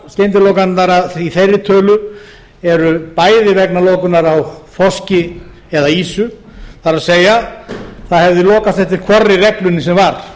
sumar skyndilokanirnar í þeirri tölu eru bæði vegna lokunar á þorski eða ýsu það er það hefði lokast eftir hvorri reglunni sem var